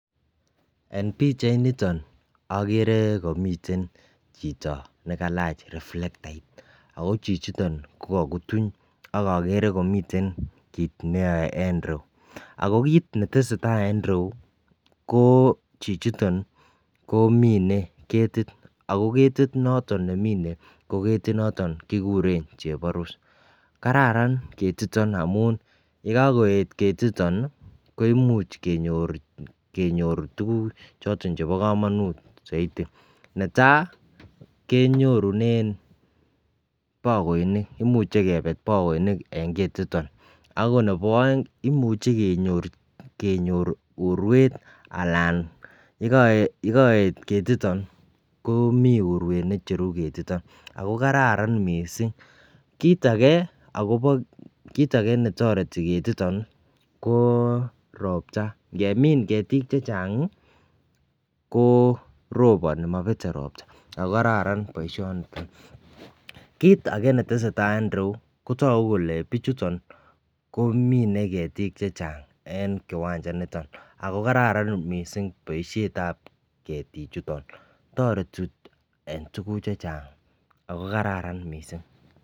Eng pichait nitoni agere, agere komiten chito nekalach reflectait ako chichiton ko kakutuny, akagere komiten kit neyoe eng ireu ,ako kit netesetai eng ireu kochichiton ko mine ketit ako ketit noton nemine ko ketit noton nekikuren chebarus , Karan ketiton amun yekakoet ketiton koimuch kenyor tukuk choton chebo kamanut, saiti . Netai kenyorunen bakoinik, imuche kebet bakoinik eng ketiton ,ako nebo aeng imuche kenyor urwet anan yekaet ketiton ko mi urwet necheru ketiton ako kararan mising, kit ake netoreti ketiton korobta, ngemin ketik chechang ii ko roboni ,mabete ropta, ako kararan ketiteni, kit ake netesetai eng ireu kotoku kole bichutan kole mine ketit chechang eng kiwanja nitoni ako kararan kabisa boisyetab ketik chuton toreti eng tukuk chechang ako kararan mising.